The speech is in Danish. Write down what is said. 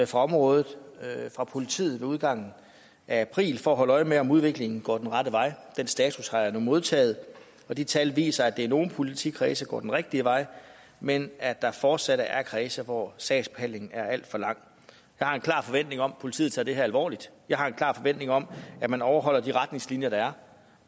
for området fra politiet ved udgangen af april for at holde øje med om udviklingen går den rette vej den status har jeg nu modtaget og de tal viser at det i nogle politikredse går den rigtige vej men at der fortsat er kredse hvor sagsbehandlingen er alt for lang jeg har en klar forventning om at politiet tager det her alvorligt og jeg har en klar forventning om at man overholder de retningslinjer der er